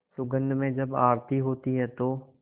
सुगंध में जब आरती होती है तो